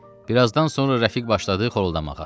Birazdan sonra rəfiq başladı xoruldamağa.